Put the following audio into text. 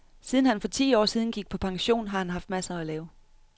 Siden han for ti år siden gik på pension, har han haft masser at lave.